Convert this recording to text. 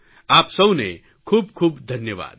આપ સૌને કૂબ ખૂબ ધન્યવાદ